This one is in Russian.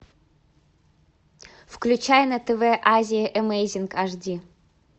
включай на тв азия эмейзинг аш ди